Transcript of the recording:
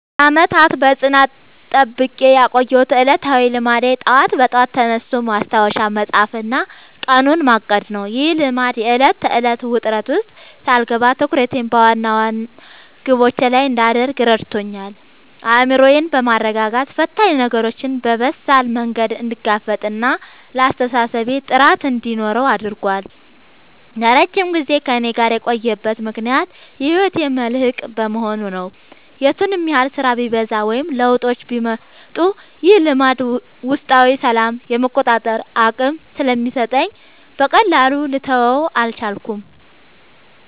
ለዓመታት በጽናት ጠብቄ ያቆየሁት ዕለታዊ ልማዴ ጠዋት በጠዋት ተነስቶ ማስታወሻ መጻፍና ቀኑን ማቀድ ነው። ይህ ልማድ የዕለት ተዕለት ውጥረት ውስጥ ሳልገባ ትኩረቴን በዋና ዋና ግቦቼ ላይ እንድታደርግ ረድቶኛል። አእምሮዬን በማረጋጋት ፈታኝ ነገሮችን በበሳል መንገድ እንድጋፈጥና ለአስተሳሰቤ ጥራት እንዲኖረው አድርጓል። ለረጅም ጊዜ ከእኔ ጋር የቆየበት ምክንያት የህይወቴ መልህቅ በመሆኑ ነው። የቱንም ያህል ስራ ቢበዛ ወይም ለውጦች ቢመጡ፣ ይህ ልማድ ውስጣዊ ሰላምና የመቆጣጠር አቅም ስለሚሰጠኝ በቀላሉ ልተወው አልቻልኩም።